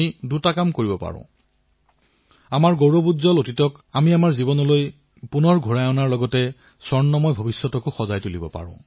আজিৰ পৰা এশ বছৰ পূৰ্বে অসহযোগ আন্দোলন আৰম্ভ হৈছিল তেতিয়া গান্ধীজীয়ে লিখিছিল অসহযোগ আন্দোলন দেশবাসীৰ আত্মসন্মান আৰু নিজৰ শক্তি বোধ কৰাৰ এক প্ৰয়াস